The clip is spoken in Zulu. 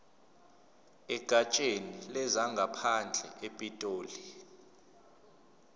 egatsheni lezangaphandle epitoli